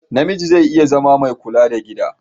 Namiji zai iya zama mai kula da gida.